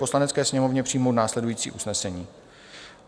Poslanecké sněmovně přijmout následující usnesení: